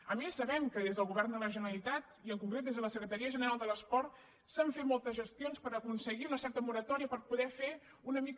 a més sabem que des del govern de la generalitat i en concret des de la secretaria general de l’esport s’han fet moltes gestions per aconseguir una certa moratòria per poder fer una mica